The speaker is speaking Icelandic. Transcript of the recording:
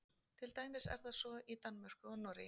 til dæmis er það svo í danmörku og noregi